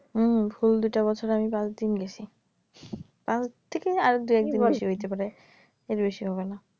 হম full দুইটা ববছরে আমি পাঁচদিন গেছি তার থেকে আরো দুই একদিন বেশি হইতে পারে এর বেশি হবে না